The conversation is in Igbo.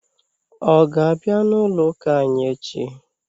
Ọ ga-abịa n'ụlọụ́kà anyị echi?